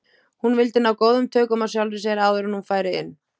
Hún vildi ná góðum tökum á sjálfri sér áður en hún færi inn.